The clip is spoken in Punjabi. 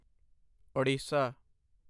ਉੜੀਸਾ